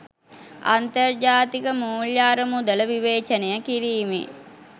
අන්තර්ජාතික මුල්‍ය අරමුදල විවේචනය කිරීමේ